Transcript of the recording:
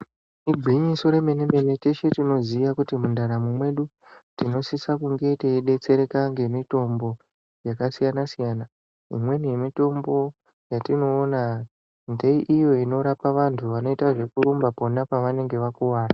Igwinyiso remene mene teshe tinoziya kuti mundaramo mwedu tinosisa kunge teidetsereka ngemutombo yakasiyana siyana imweni yemutombo yetinoona ngeiyo inorapa vanthu vanoita zvekurumba pona pavanenge vakuwara.